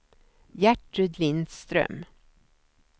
Gertrud Lindström